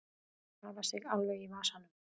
Hafa sig alveg í vasanum.